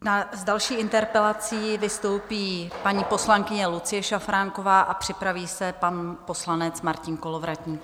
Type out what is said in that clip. S další interpelací vystoupí paní poslankyně Lucie Šafránková a připraví se pan poslanec Martin Kolovratník.